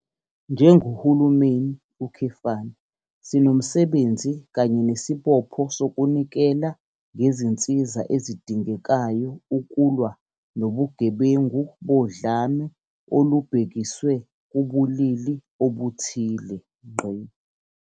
Njengohulumeni, sinomsebenzi kanye nesibopho sokunikela ngezinsiza ezidingekayo ukulwa nobugebengu bodlame olubhekiswe kubulili obuthile.